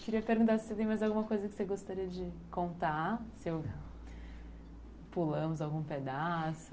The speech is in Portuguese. Queria perguntar se tem mais alguma coisa que você gostaria de contar, se pulamos algum pedaço.